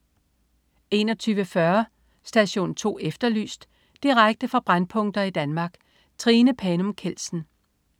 21.40 Station 2 Efterlyst. Direkte fra brændpunkter i Danmark. Trine Panum Kjeldsen